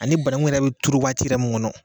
Ani banaku yɛrɛ bi turu waati yɛrɛ mun kɔnɔ.